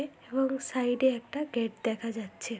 এবং সাইডে একটা গেট দেখা যাচ্ছে।